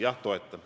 Jah, toetan.